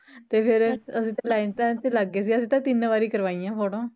ਤੇ ਫੇਰ ਅਸੀਂ ਤਾਂ ਲਾਈਨ ਲੈਨ ਚ ਲੱਗਗੇ ਸੀ ਅਸੀਂ ਤਾ ਤਿਨ ਵਾਰੀ ਕਰਵਾਈਆ ਫੋਟੋਆਂ